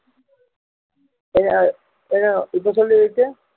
என்ன அஹ் என்ன அஹ் இப்போ சொல்லு விவேக்